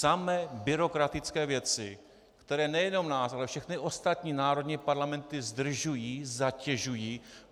Samé byrokratické věci, které nejenom nás, ale všechny ostatní národní parlamenty zdržují, zatěžují.